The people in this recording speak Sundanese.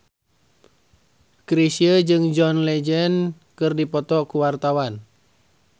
Chrisye jeung John Legend keur dipoto ku wartawan